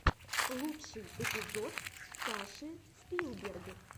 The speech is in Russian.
лучший эпизод саши спилберг